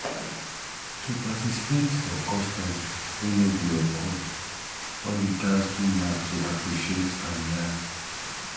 to participate for customs wey no be your own all you gats do na to appreciate and learn